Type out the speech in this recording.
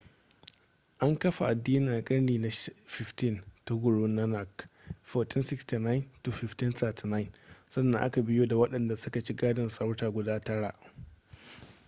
an kafa adinin a karni na 15 ta guru nanak 1469 - 1539. sannan a ka biyo da waɗanda suka ci gadon sarauta guda tara